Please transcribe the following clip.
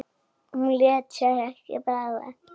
Hún lét sér ekki bregða.